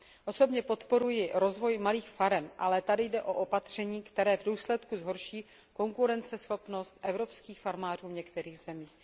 Osobně podporuji rozvoj malých farem, ale tady jde o opatření, které v důsledku zhorší konkurenceschopnost evropských farmářů v některých zemích.